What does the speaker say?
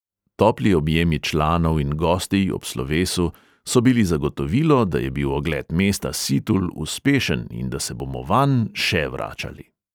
Topli objemi članov in gostij ob slovesu so bili zagotovilo, da je bil ogled mesta situl uspešen in da se bomo vanj še vračali.